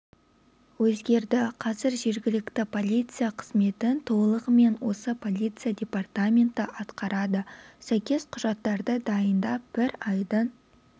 өзгерді қазір жергілікті полиция қызметін толығымен осы полиция департаменті атқарады сәйкес құжатарды дайындап бір айдың